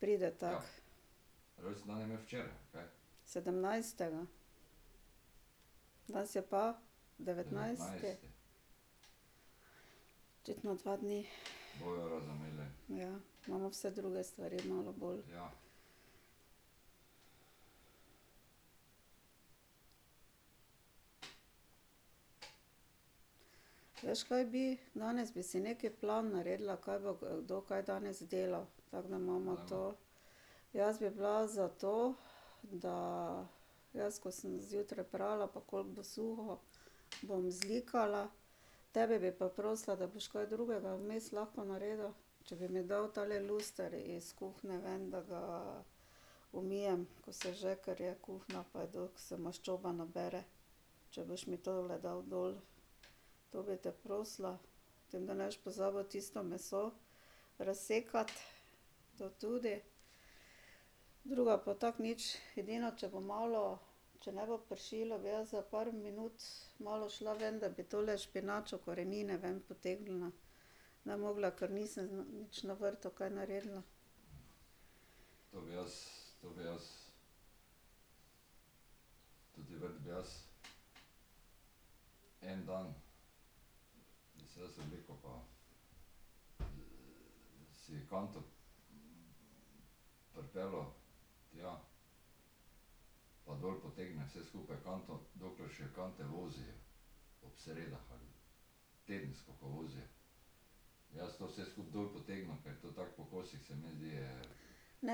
Pride tako. Sedemnajstega. Danes je pa? Devetnajsti? Očitno dva dni. Ja, imamo vse druge stvari malo bolj ... Veš, kaj bi? Danes bi si neki plan naredila, kaj bo kdo kaj danes delal, tako da imava to. Jaz bi bila za to, da ... Jaz, ko sem zjutraj prala, pa koliko bo suho, bom zlikala, tebe bi pa prosila, da boš kaj drugega vmes lahko naredil. Če bi mi dal tale luster iz kuhinje ven, da ga umijem, ko se že, ker je kuhinja pa se maščoba nabere, če boš mi tole dal dol. To bi te prosila. Potem, da ne boš pozabil tisto meso razsekati, to tudi. Drugo pa tako nič, edino, če bo malo, če ne bo pršilo, bi jaz za par minut malo šla ven, da bi tole špinačo, korenine ven potegnila. mogla, ker nisem nič na vrtu kaj naredila. Ne,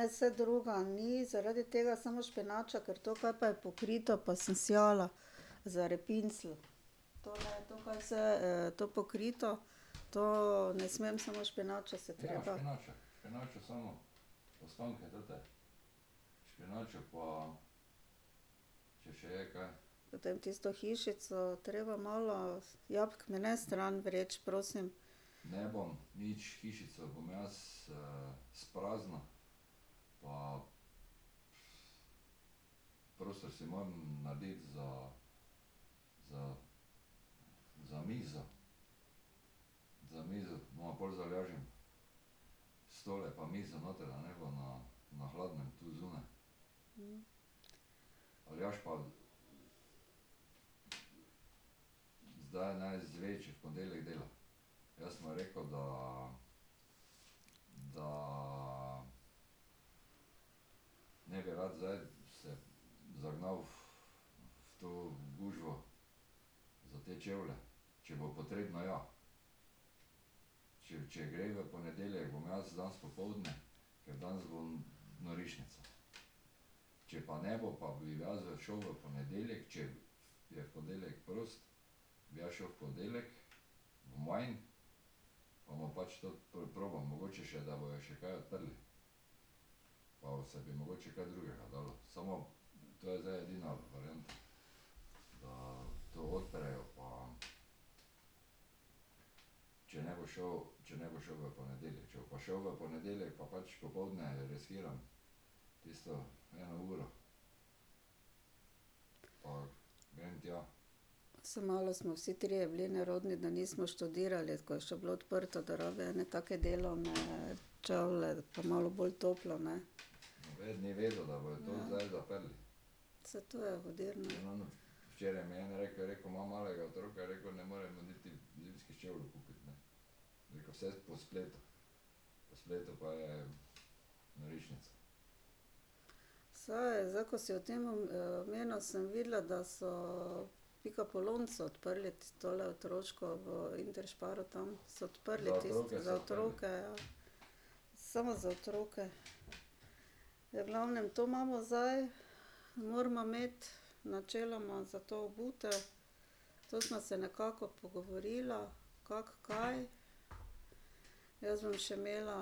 saj drugega ni, zaradi tega samo špinača, ker to, kar pa je pokrito, pa sem sejala za repincelj. To ne, to kaj vse to pokrito, to ne smem, samo špinačo se treba. Potem tisto hišico treba malo, jabolk mi ne stran vreči, prosim. Saj malo smo vsi trije bili nerodni, da nismo študirali, ko je še bilo odprto, da rabi ene take delavne čevlje pa malo bolj tople, ne. Saj to je hudir, ne. Saj, zdaj, ko si o tem omenil, sem videla, da so Pikapolonico odprli, tistole otroško v Intersparu tam, so odprli. Za otroke, ja. Samo za otroke. V glavnem, to imamo zdaj, morava imeti, načeloma za to obutev. To sva se nekako pogovorila, kako, kaj. Jaz bom še imela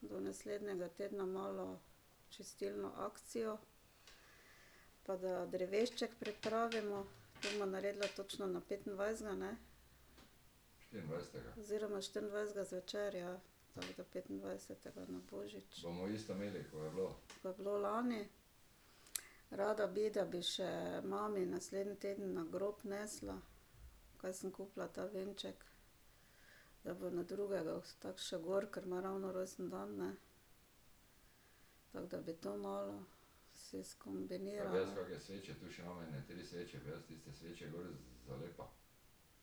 do naslednjega tedna malo čistilno akcijo. Pa da drevešček pripravimo, bova naredila točno na petindvajsetega, ne? Oziroma štiriindvajsetega zvečer, ja, tako da petindvajsetega na božič. Ko je bilo lani. Rada bi, da bi še mami naslednji teden na grob nesla, kaj sem kupila ta venček, da bo na drugega tako šel gor, ker ima ravno rojstni dan, ne. Tako da bi to malo si skombinirala.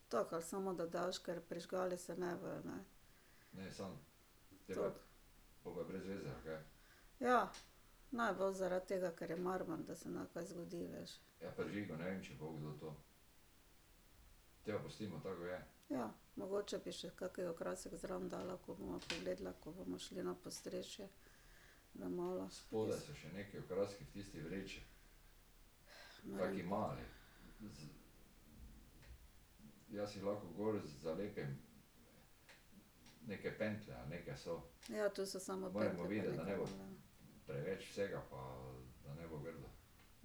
Tako ali samo da daš, ker prižgale se ne bojo, ne. Ja, naj bo zaradi tega, ker je marmor, da se ne kaj zgodi, veš. Ja, mogoče bi še kak okrasek zraven dala, ko bova pogledala, ko bomo šli na podstrešje, da malo ... Ja, to so samo pentlje pa neke .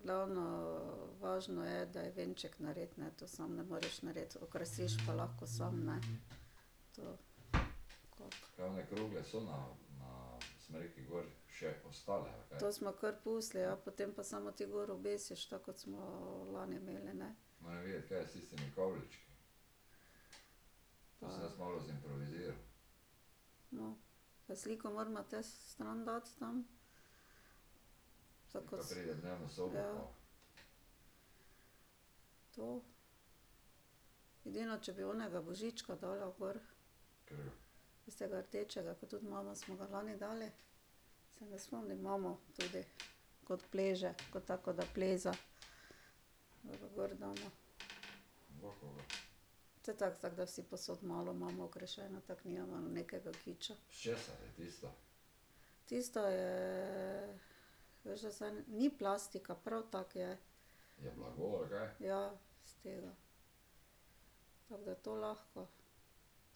Glavno, važno je, da je venček narejen, ne, to samo ne moreš narediti, okrasiš pa lahko samo, ne. To ... To sva kar pustili, ja, potem pa samo ti gor obesiš tako, kot smo lani imeli, ne. No, pa sliko morava te stran dati tam. Ja. To. Edino, če bi onega Božička dala gor. Tistega rdečega, ke tudi smo ga lani dali. Se ne spomni, mama tudi. Kot pleže, kot tako kot da pleza. Da ga gor dava. To je tako, tako da vsi povsod malo imamo okrašeno, tako nimamo nekega kiča. Tisto je ... Veš, da zdaj, ni plastika, prav tako je ... Ja, s tega. Tako da to lahko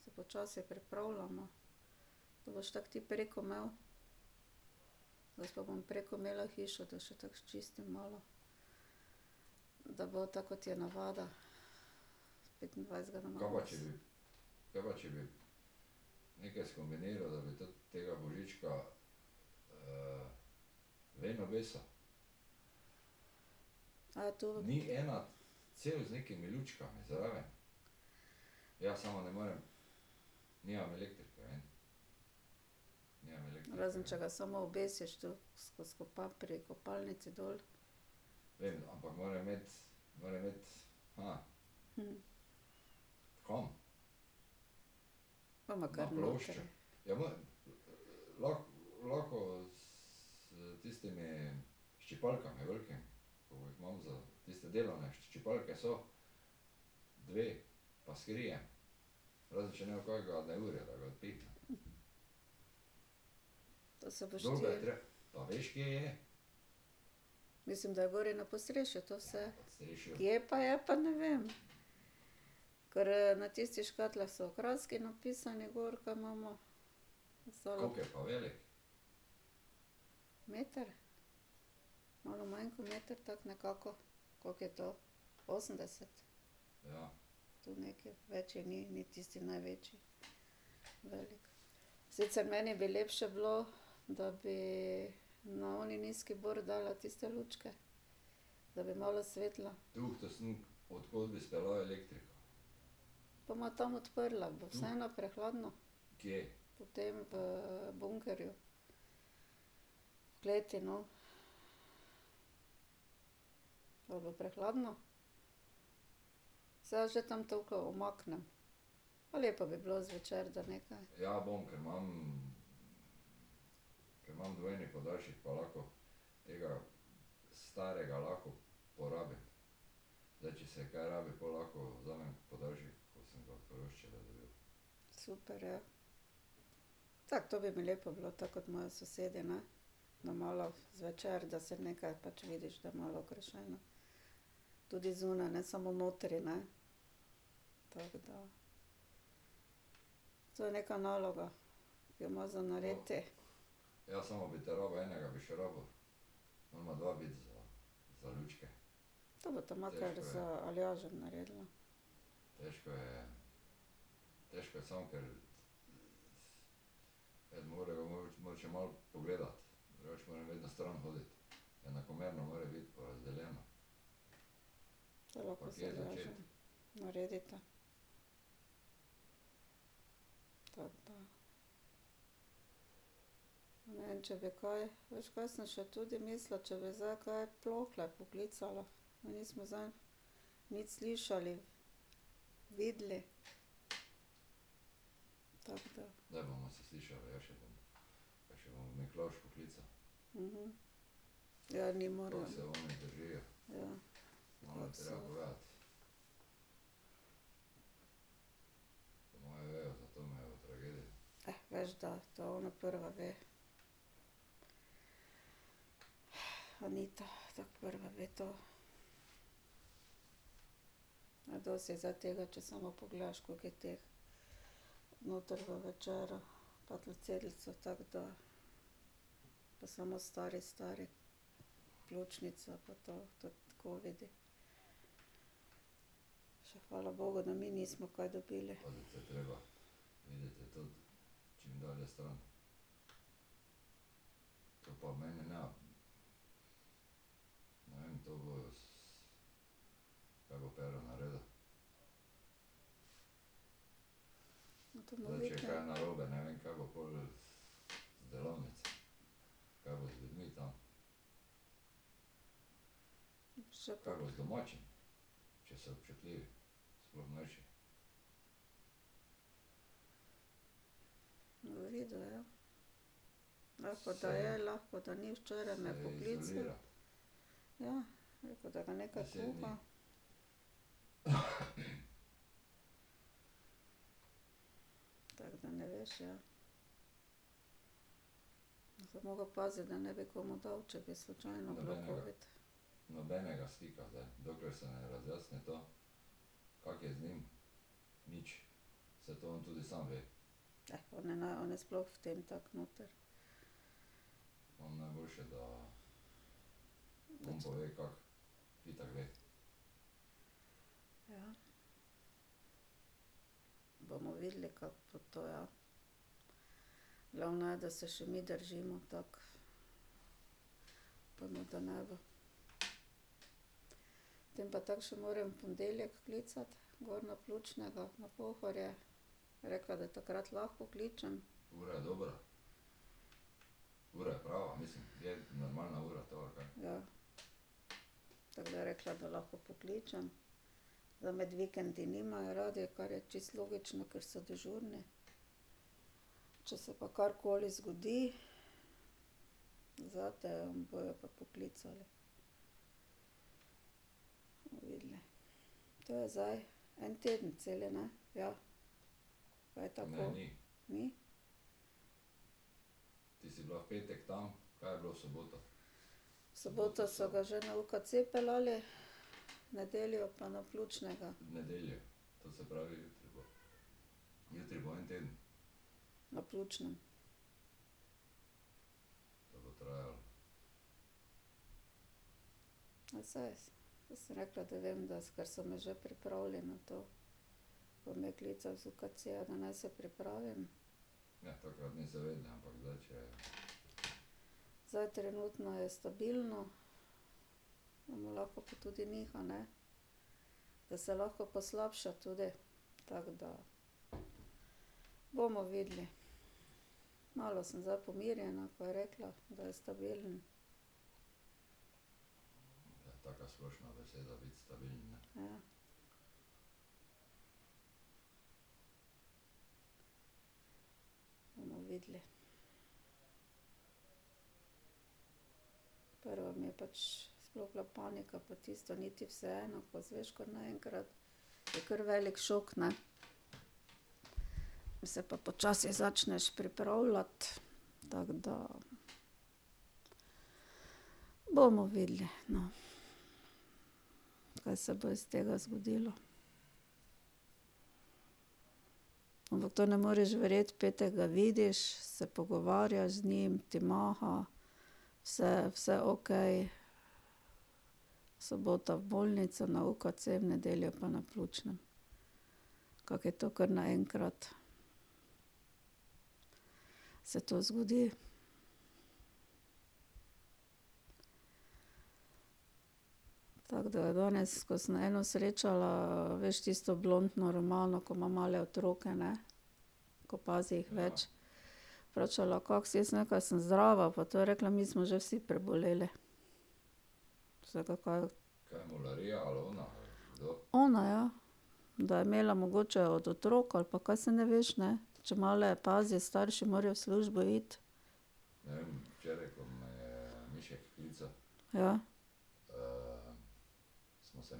se počasi pripravljava. To boš tako ti preko imel. Jaz pa bom preko imela hišo, da še tako sčistim malo, da bo tako, kot je navada, s petindvajsetega . to ... Razen če ga samo obesiš tu, skoz pri kopalnici dol. Bova kar notri. To se boš ti ... Mislim, da je gori na podstrešju to vse. Kje pa je, pa ne vem. Ker na tistih škatlah so okraski napisani gor, ker imava ... Meter? Malo manj kot meter, tako nekako. Koliko je to? Osemdeset? Tu nekaj, večji ni, ni tisti največji, velik. Sicer meni bi lepše bilo, da bi na oni nizki bor, dala tiste lučke, da bi malo svetilo. Bova tam odprla, bo vseeno prehladno? V tem bunkerju. V kleti, no. Ali bo prehladno? Saj umaknem. Pa lepo bi bilo zvečer, da nekaj. Super je. Tako, to bi mi lepo bilo, tako kot imajo sosedi, ne. Da malo zvečer, da se nekaj pač vidiš, da je malo okrašeno. Tudi zunaj, ne samo notri, ne. Tako da. To je neka naloga, ki jo imaš za narediti. To bosta makar z Aljažem naredila. Lahko z Aljažem naredita. Tako da. Ne vem, če bi kaj. Veš, kaj sem še tudi mislila, če bi zdaj kaj Plohle poklicala. Nismo zdaj nič slišali, videli. Tako da. Ja, oni. Ja. veš da, to ona prva ve. Anita, tako prva ve to. Dosti je zdaj tega, če samo pogledaš, koliko je teh noter v večeru. Pa tako da ... Pa samo stari, stari, pljučnica pa to, covidi. Še hvala bogu, da mi nismo kaj dobili. To bomo videli. Bo videl, ja. Lahko, da je, lahko, da ni, včeraj me je poklical. Ja, je rekel, da ga nekaj kuha. Tako da, ne veš, ja. Bi zdaj moral paziti, da ne bi komu dal, če bi slučajno bil covid. on je on je sploh v tem tako noter. Ja. Bomo videli, kako bo to, ja. Glavno je, da se še mi držimo tako. Upajmo, da ne bo. Tem pa tako še moram v ponedeljek klicati gor na pljučnega na Pohorje, je rekla, da takrat lahko kličem. Ja, tako da je rekla, da lahko pokličem. Da med vikendi nimajo radi, kar je čisto logično, kar so dežurni. Če se pa karkoli zgodi, zate bojo pa poklicali. Bomo videli. To je zdaj en teden cel, ne? Ja. A je tako? Ni? V soboto so ga že na UKC peljali, v nedeljo pa na pljučnega. Na pljučnem. Ja saj, saj sem rekla, da vem, ker so me že pripravili na to. Pa me klicali z UKC-ja, da naj se pripravim. Zdaj trenutno je stabilno. lahko pa tudi niha, ne. Da se lahko poslabša tudi, tako da. Bomo videli. Malo sem zdaj pomirjena, ko je rekla, da je stabilen. Ja. Bomo videli. Prvo mi je pač sploh bila panika pa tisto, ni ti vseeno, ko izveš kar naenkrat, je kar velik šok, ne. Pol se pa počasi začneš pripravljati, tako da. Bomo videli, no, kaj se bo iz tega zgodilo. Ampak to ne moreš verjeti, v petek ga vidiš, se pogovarjaš z njim, ti maha, vse vse okej, v soboto v bolnico na UKC, v nedeljo pa na pljučnem. Kako je to kar naenkrat. Se to zgodi. Tako da je danes, ko sem eno srečala, veš, tisto blontno Romano, ko ima male otroke, ne? Ko pazi jih več. Vprašala, kako si, sem rekla: "Sem zdrava pa to." Je rekla: "Mi smo že vsi preboleli." Sem rekla: "Kaj ..." Ona, ja. Da je imela mogoče od otrok ali pa kaj, saj ne veš, ne, če male pazi, starši morajo v službo iti. Ja.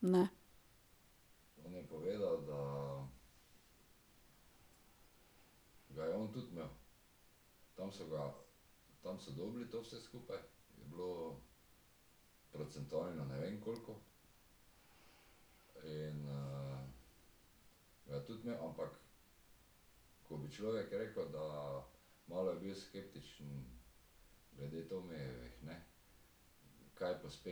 Ne. Nič?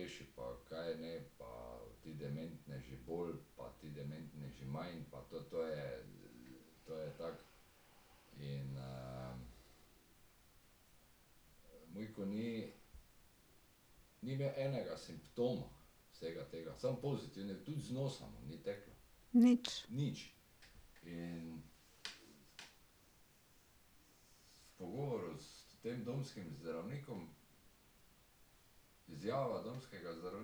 Jezus. Moramo zdaj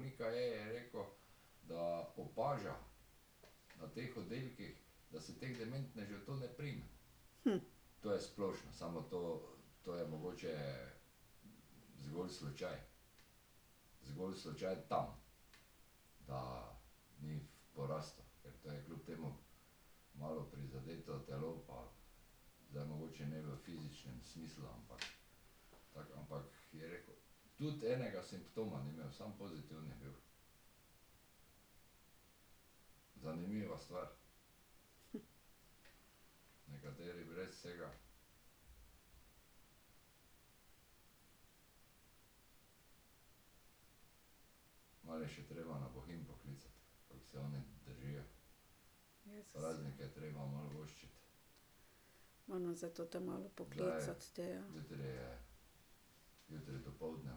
tote malo poklicati te, ja.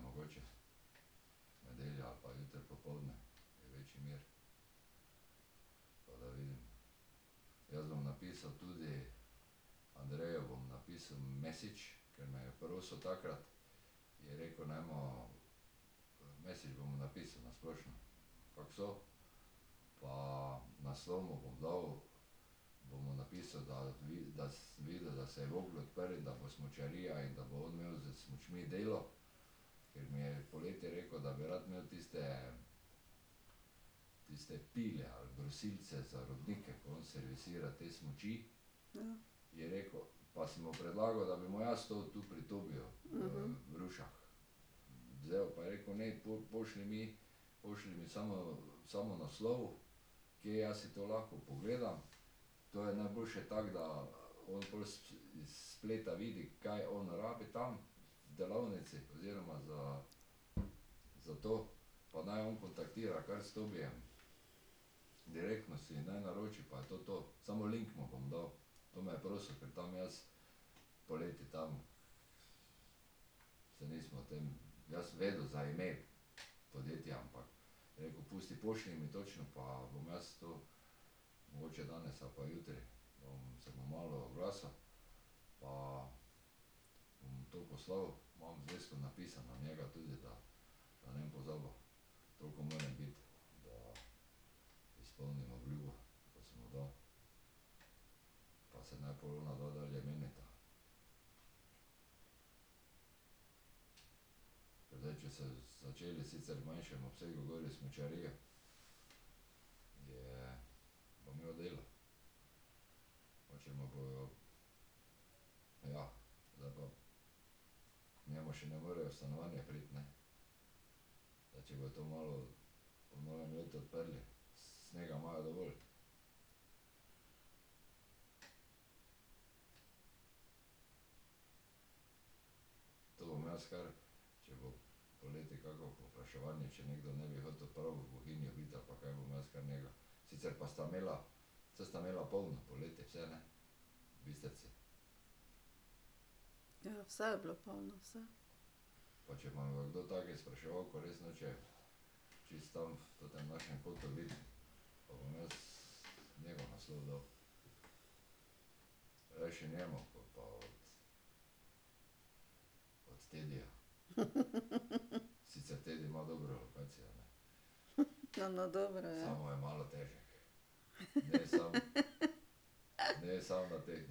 Ja. Ja, vse je bilo polno, vse. No, no, dobro je.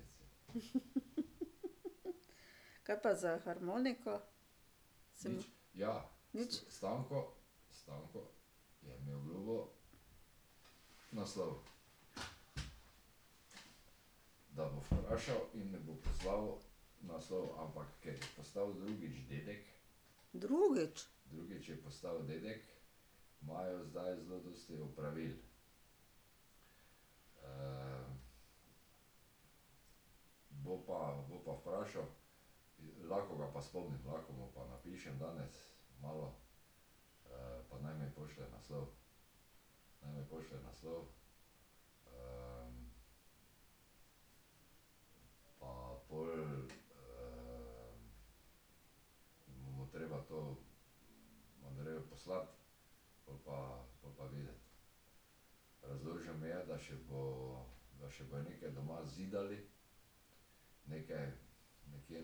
Kaj pa za harmoniko? Si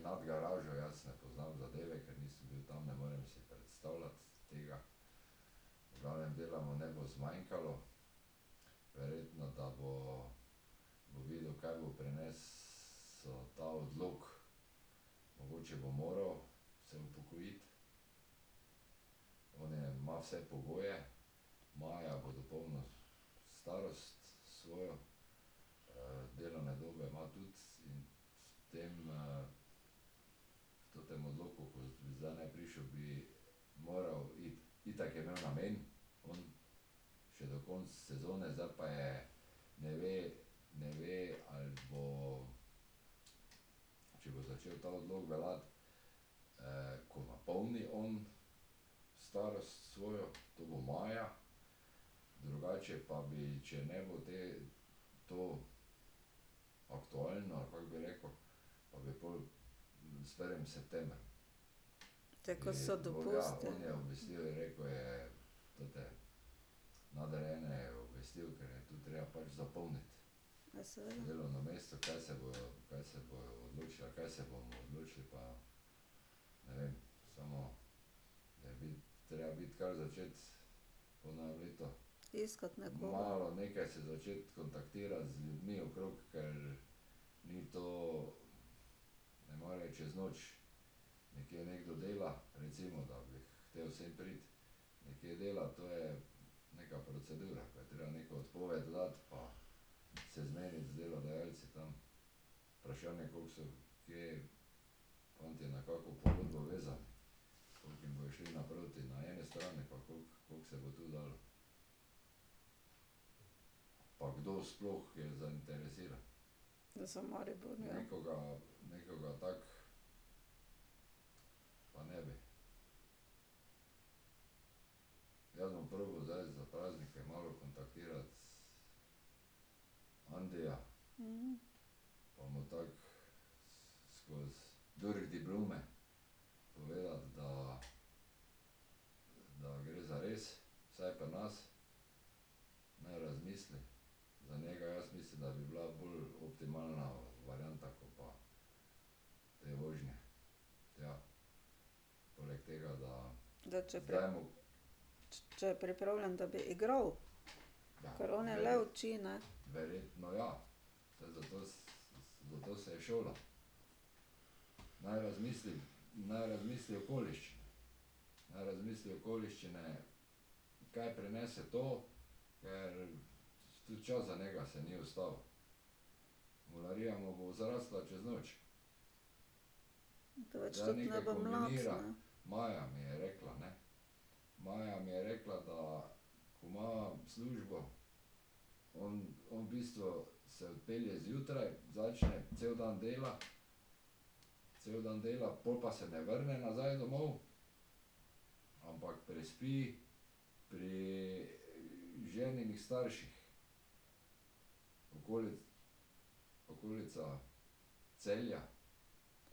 mu ... Nič? Drugič? Te ko so dopusti? Ja, seveda. Iskati nekoga. Za Maribor . Da če ... če je pripravljen, da bi igral. Kar on je le uči, ne. Da več tudi ne bo mlad, ne.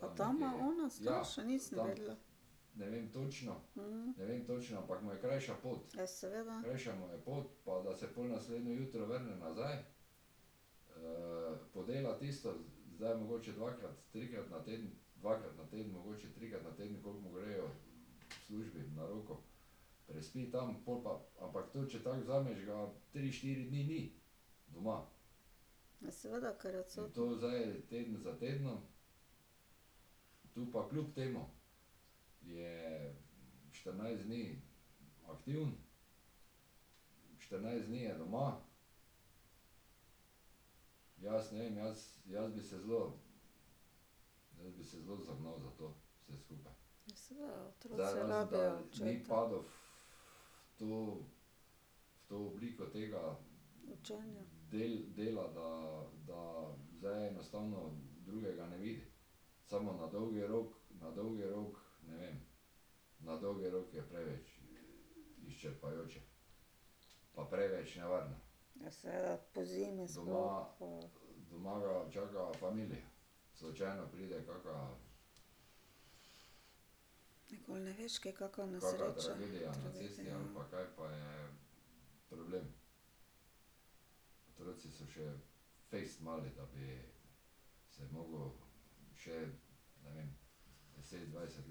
A tam ima ona starše? Nisem vedela. Ja, seveda. Je seveda, ker je odsoten. Ja, seveda, otroci rabijo očeta. Učenja. Ja, seveda, pozimi sploh. Nikoli ne veš, kje kakšna nesreča,